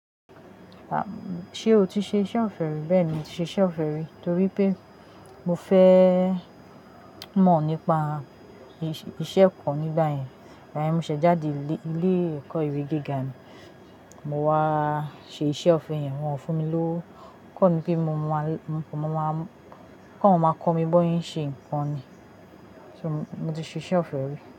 Ṣé o ti ṣe iṣẹ́ òfe rí? Bẹ́ẹ̀ni, mo ti ṣe iṣẹ́ òfin rí torí pé mo fẹ́ mọ̀ nípa ìṣe-ìṣẹ́ kan nígbà yẹn. Nígbà mí mú ṣẹ̀ jáde ilé-ìkọ́ iwe gíga ni, mo wá ṣe iṣẹ́ òfe yẹn. Wọn fún mi ló kọ̀ mí pé mo máa máa kọ̀ wọn máa kọ̀ mí bóyá ṣe ǹkan ni. So mo ti ṣe iṣẹ́ òfe rí.